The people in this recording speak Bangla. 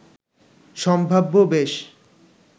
সম্ভাব্য বেশ